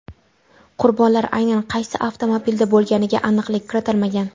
Qurbonlar aynan qaysi avtomobilda bo‘lganiga aniqlik kiritilmagan.